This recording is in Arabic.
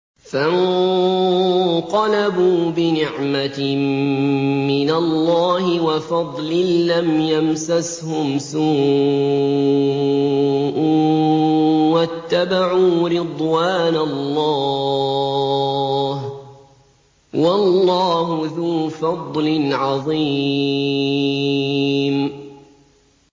فَانقَلَبُوا بِنِعْمَةٍ مِّنَ اللَّهِ وَفَضْلٍ لَّمْ يَمْسَسْهُمْ سُوءٌ وَاتَّبَعُوا رِضْوَانَ اللَّهِ ۗ وَاللَّهُ ذُو فَضْلٍ عَظِيمٍ